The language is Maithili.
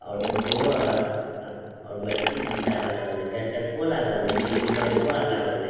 और ऑटो और बैटरी रिक्शा आर लागल रहे चार चक्को लागल रहे जे की बाईको आर लागल रहे।